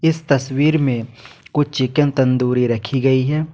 इस तस्वीर में कुछ चिकन तंदूरी रखी गई हैं।